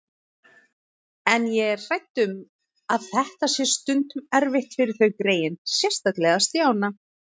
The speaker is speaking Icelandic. En ég er hrædd um að þetta sé stundum erfitt fyrir þau greyin, sérstaklega Stjána